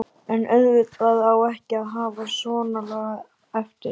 En auðvitað á ekki að hafa svonalagað eftir.